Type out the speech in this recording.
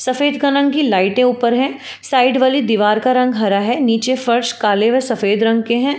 सफेद कलर की लाइटें ऊपर है। साइड वाले दीवार का रंग हरा है। नीचे फर्श काले व सफेद रंग के है।